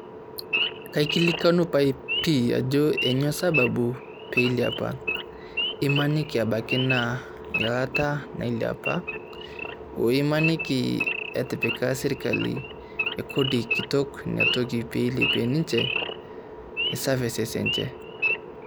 Kaikilikwanu pae pii, ajo kainyoo sababu pee ilepa , imaniki abaki naa eilata nailepaa oo imaniki etipika sirkali Kodi kitok ina toki piilepie ninche services enche.